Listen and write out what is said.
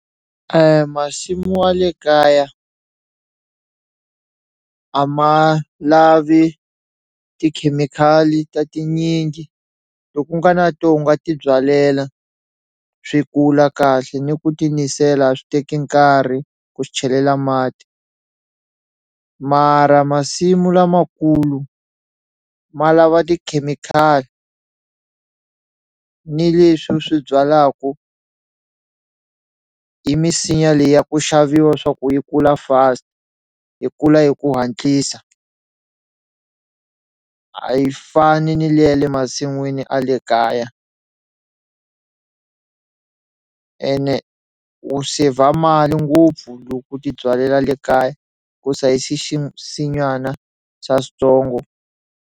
Masimu wa le kaya a ma lavi tikhemikhali ta tinyingi loku nga na tona u nga ti byalela swi kula kahle ni ku ti nisela a swi teki nkarhi ku swi chelela mati mara masimu lamakulu ma lava tikhemikhali ni leswi u swi byalaku i misinya leyi ya ku xaviwa swa ku yi kula fast yi kula hi ku hatlisa a yi fani ni le ya le masin'wini a le kaya ene u sevha mali ngopfu loko u ti byalela le kaya sinyana swa switsongo.